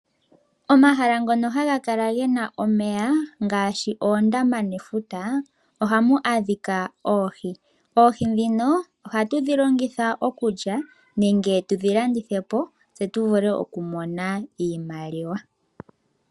Omahala ngono haga kala gena omeya ngaashi oondama nefuta ohamu adhika oohi. Oohi ndhino ohatu dhi longitha okulya nenge tudhithepo tse tuvule okumona iimaliwa.